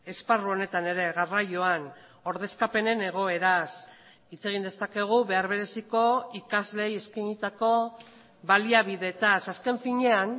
esparru honetan ere garraioan ordezkapenen egoeraz hitz egin dezakegu behar bereziko ikasleei eskainitako baliabideetaz azken finean